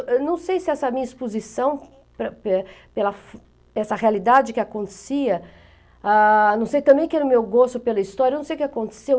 Eu não sei se essa minha exposição, pela essa realidade que acontecia, ah, não sei também que era o meu gosto pela história, eu não sei o que aconteceu.